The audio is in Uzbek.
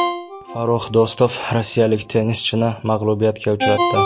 Farrux Do‘stov rossiyalik tennischini mag‘lubiyatga uchratdi.